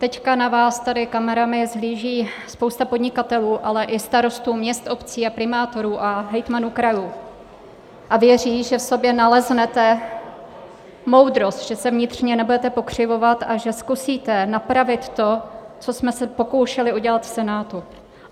Teď na vás tady kamerami hledí spousta podnikatelů, ale i starostů měst, obcí a primátorů a hejtmanů krajů a věří, že v sobě naleznete moudrost, že se vnitřně nebudete pokřivovat a že zkusíte napravit to, co jsme se pokoušeli udělat v Senátu.